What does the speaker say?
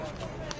Fırlanır!